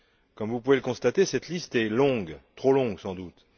Comme vous pouvez le constater, cette liste est longue, trop longue sans doute.